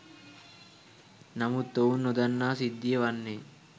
නමුත් ඔවුන් නොදන්නා සිද්ධිය වන්නේ